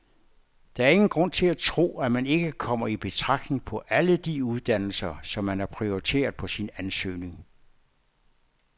Der er ingen grund til at tro, at man ikke kommer i betragtning på alle de uddannelser, som man har prioriteret på sin ansøgning.